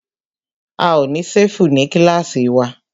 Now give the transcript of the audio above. A ó ní ṣẹ́fù ní kílàsì wa.